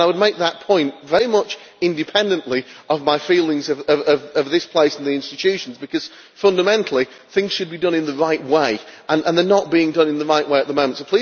I would make that point very much independently of my feelings about this place and the institutions because, fundamentally, things should be done in the right way and they are not being done in the right way at the moment.